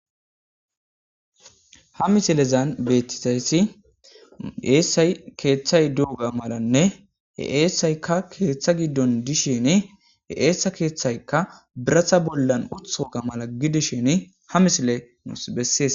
Ha misilezan beettisayssi eessay keeththay duuga malanne he eessaykka keeththa giddon dishini he eessa keeththaykka birata bollan utoga mala gidishini ha misile nus bessees.